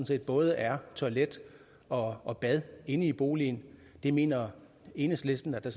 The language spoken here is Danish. set både er toilet og og bad inde i boligen det mener enhedslisten der